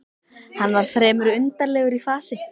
Hann var fremur undarlegur í fasi.